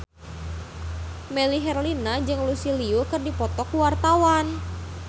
Melly Herlina jeung Lucy Liu keur dipoto ku wartawan